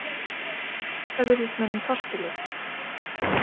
Þetta virðist mönnum torskilið.